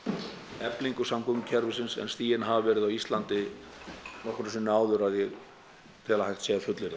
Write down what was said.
eflingu samgöngukerfisins en stigin hafa verið á Íslandi nokkru sinni áður að ég tel að hægt sé að fullyrða